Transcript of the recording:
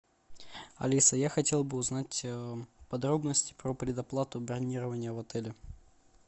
алиса я хотел бы узнать подробности про предоплату бронирования в отеле